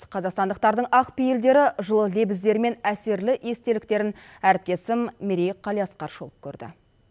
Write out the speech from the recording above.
қазақстандықтардың ақ пейілдері жылы лебіздері мен әсерлі естеліктерін әріптесім мерей қалиасқар шолып көрді